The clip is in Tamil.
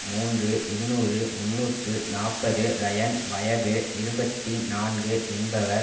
மூன்று இருநூறு முன்னூற்று நாற்பது ரயன் வயது இருபத்தி நான்கு என்பவர்